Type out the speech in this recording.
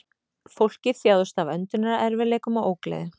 Fólkið þjáðist af öndunarerfiðleikum og ógleði